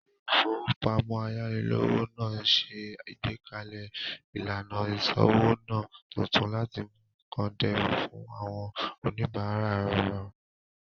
Ilé-ìfowópamọ́sí ayánilówó náà ṣe ìgbékalẹ̀ ìlànà ìsọ́wóná tuntun láti mú nkán dẹrùn fún àwọn oníbàárà rẹ̀